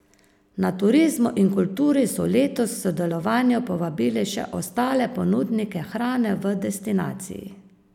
Na Turizmu in kulturi so letos k sodelovanju povabili še ostale ponudnike hrane v destinaciji.